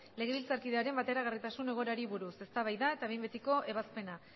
legebiltzarkidearen bateragarritasun egoerari buruz eztabaida eta behin betiko ebazpena